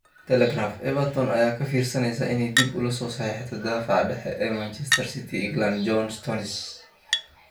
(Telegraph) Everton ayaa ka fiirsaneysa inay dib ula soo saxiixato daafaca dhexe ee Manchester City iyo England John Stones.